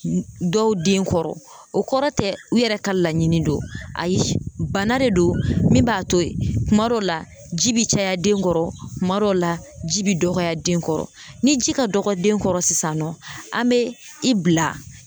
Dɔw den kɔrɔ o kɔrɔ tɛ u yɛrɛ ka laɲini don ayi bana de don min b'a to yen kuma dɔ la ji bɛ caya den kɔrɔ kuma dɔ la ji bɛ dɔgɔya den kɔrɔ ni ji ka dɔgɔ den kɔrɔ sisan nɔ an bɛ i bila